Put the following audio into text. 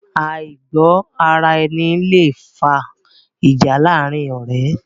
Àìgbọ́ ara ẹni yé lẹ fa ìjà láàrin ọ̀rẹ́